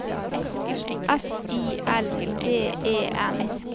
S I L D E N